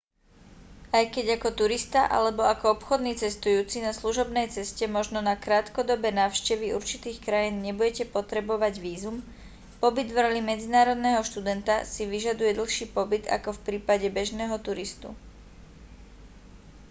aj keď ako turista alebo ako obchodný cestujúci na služobnej ceste možno na krátkodobé návštevy určitých krajín nebudete potrebovať vízum pobyt v roli medzinárodného študenta si vyžaduje dlhší pobyt ako v prípade bežného turistu